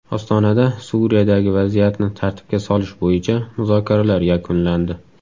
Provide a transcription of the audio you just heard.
Ostonada Suriyadagi vaziyatni tartibga solish bo‘yicha muzokaralar yakunlandi.